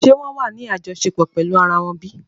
Ṣe wón wá ní àjọṣepọ̀ pèlú àrà wón bí?